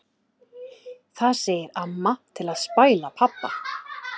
Það segir amma til að spæla pabba.